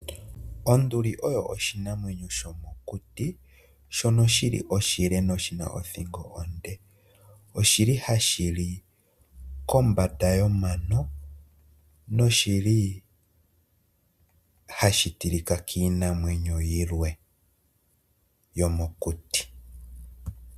Onduli oyo oshinamwenyo shomokuti shono shili oshile noshina othingo onde. Oshili hashi li kombanda yomano noshili hashi tilika kiinamwenyo yilwe yomokuti.